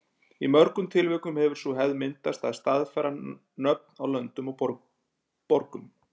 Í mörgum tilvikum hefur sú hefð myndast að staðfæra nöfn á löndum og borgum.